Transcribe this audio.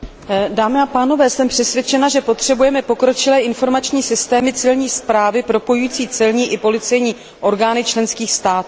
Dámy a pánové, jsem přesvědčena, že potřebujeme pokročilé informační systémy civilní správy propojující celní i policejní orgány členských států.